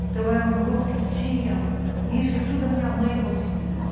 Então, era um grupo que tinha... Isso tudo a minha mãe conseguiu.